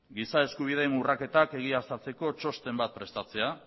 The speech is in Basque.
giza eskubideen urraketak egiaztatzeko txosten bat prestatzea